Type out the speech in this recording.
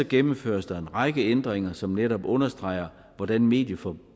gennemføres der en række ændringer som netop understreger hvordan medieforliget